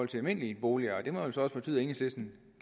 de almindelige boliger det må jo så også betyde at enhedslisten